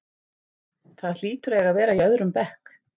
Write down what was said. Það hlýtur að eiga að vera í öðrum bekk.